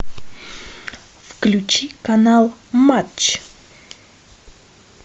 включи канал матч